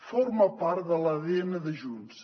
forma part de l’adn de junts